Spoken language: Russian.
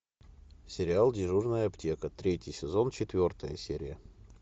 сериал дежурная аптека третий сезон четвертая серия